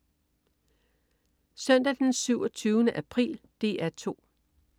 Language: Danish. Søndag den 27. april - DR 2: